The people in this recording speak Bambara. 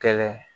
Kɛlɛ